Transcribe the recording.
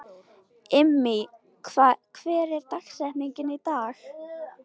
Immý, hver er dagsetningin í dag?